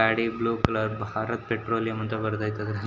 ಗಾಡಿ blue colour Bharat petroleum ಅಂತ ಬರದೈತೆ ಅದ್ರಲ್ಲಿ.